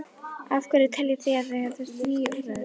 Af hverju teljið þið að það þurfi ný úrræði?